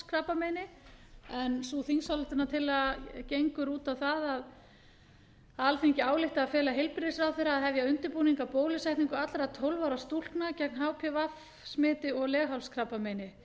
leghálskrabbameini sú þingsályktunartillaga gengur út á það að alþingi álykti að fela heilbrigðisráðherra að hefja undirbúning að bólusetningu allra tólf ára stúlkna gegn hpv smiti og leghálskrabbameini